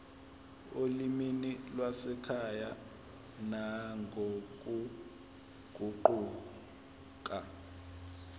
olimini lwasekhaya nangokuguquka